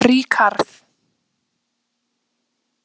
Ríkharð